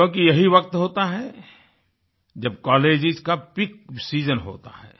क्योंकि यही वक़्त होता है जब कॉलेजेस का पीक सीजन होता है